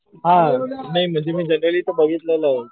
हां नाही म्हणजे मी जनरली ते बघितलेलं आहे.